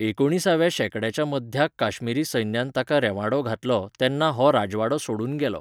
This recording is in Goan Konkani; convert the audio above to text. एकुणिसाव्या शेंकड्याच्या मध्याक काश्मीरी सैन्यान ताका रेवांडो घालो तेन्ना हो राजवाडो सोडून गेलो.